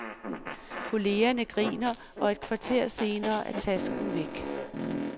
Kollegerne griner, og et kvarter senere er tasken væk.